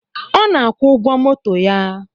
Ọ na-akwụ ụgwọ moto ya